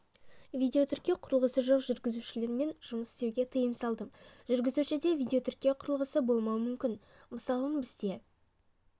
видеотіркеу құрылғысы жоқ жүргізушілермен жұмыс істеуге тыйым салдым жүргізушіде видеотіркеу құрылғысы болмауы мүмкін мысалын бізде